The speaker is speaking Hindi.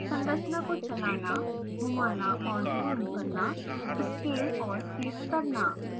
संरचना को चलाना घुमाना और ज़ूम करना स्केल और क्लिप करना